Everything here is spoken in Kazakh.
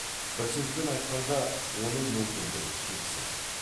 бір сөзбен айтқанда оның мүмкіндігі шексіз